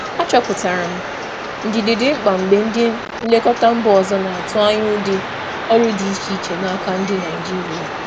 Achọpụtara m na ndidi dị mkpa mgbe ndị nlekọta si mba ọzọ na-atụ anya ụdị ọrụ dị iche site na ndị Naịjirịa.